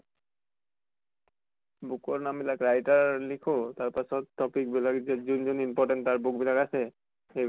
book ৰ নাম বিলাক writerলিখো তাৰ পাছত topic বিলাক যে যোন যোন important তাৰ book বিলাক আছে সেই